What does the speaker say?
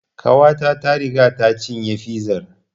Ƙawata ta riga ta cinye fizar